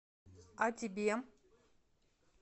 о тебе